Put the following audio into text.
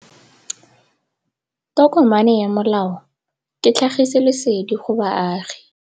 Tokomane ya molao ke tlhagisi lesedi go baagi.